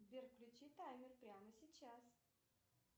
сбер включи таймер прямо сейчас